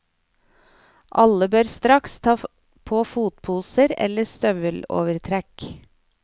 Alle bør straks ta på fotposer eller støvelovertrekk.